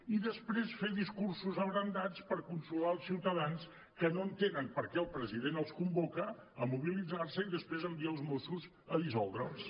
i després fer discursos abrandats per consolar els ciutadans que no entenen perquè el president els convoca a mobilitzar se i després envia els mossos a dissoldre’ls